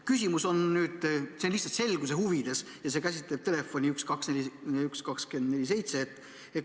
Küsimus on lihtsalt selguse huvides ja see käsitleb telefoni 1247.